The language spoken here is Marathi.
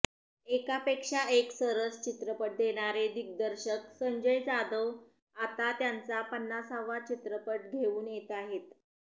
एकापेक्षा एक सरस चित्रपट देणारे दिग्दर्शक संजय जाधव आता त्यांचा पन्नासावा चित्रपट घेऊन येताहेत